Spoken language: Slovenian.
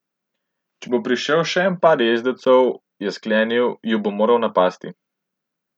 Če bo prišel še en par jezdecev, je sklenil, ju bo moral napasti.